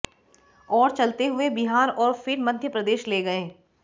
और चलते हुए बिहार और फिर मध्य प्रदेश ले गए